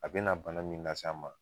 A bina bana min las'an ma